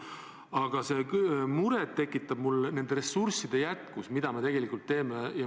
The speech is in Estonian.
Aga muret tekitab meie ressursside suurus.